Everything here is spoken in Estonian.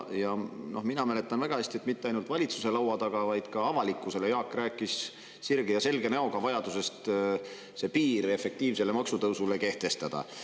Mina mäletan väga hästi, et mitte ainult valitsuse laua taga, vaid ka avalikkusele rääkis Jaak sirge ja selge näoga vajadusest efektiivsele maksutõusule piir kehtestada.